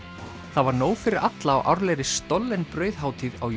það var nóg fyrir alla á árlegri stollen brauðhátíð á